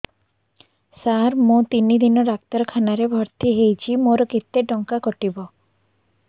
ସାର ମୁ ତିନି ଦିନ ଡାକ୍ତରଖାନା ରେ ଭର୍ତି ହେଇଛି ମୋର କେତେ ଟଙ୍କା କଟିବ